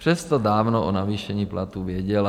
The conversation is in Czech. Přesto dávno o navýšení platů věděla.